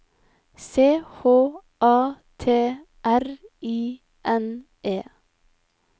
C H A T R I N E